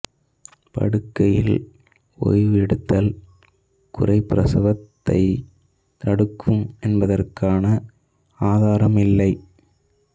படுக்கையில் ஓய்வு எடுத்தல் குறைபிரசவத்தைத் தடுக்கும் என்பதற்கான ஆதாரம் இல்லை